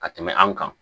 Ka tɛmɛ an kan